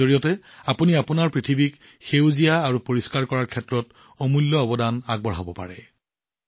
ইয়াৰ জৰিয়তে আপুনি আপোনাৰ পৃথিৱী আৰু প্ৰকৃতিক সেউজীয়া আৰু পৰিষ্কাৰ কৰি তোলাত অমূল্য অৱদান আগবঢ়াব পাৰে